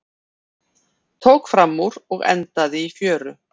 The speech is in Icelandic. Tók framúr og endaði í fjöru